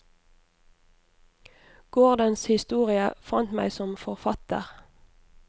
Gårdens historie, fant meg som forfatter.